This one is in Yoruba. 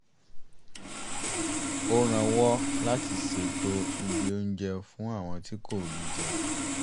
ó rànwọ́ láti ṣètò ibi oúnjẹ fún àwọn tí kò rí jẹ